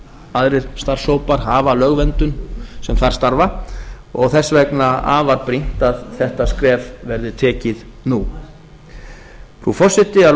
aðrir starfshópar hafa lögverndun sem þar starfa og þess vegna afar brýnt að þetta skref verði tekið nú frú forseti að